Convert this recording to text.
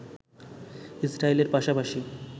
ইসরায়েলের পাশাপাশি